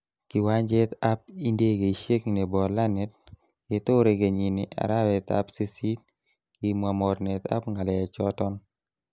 Kiwanjetab indekeishiek nebo Lannet, ketore kenyine arawetab sisit, kimwa mornetab ngalechoton.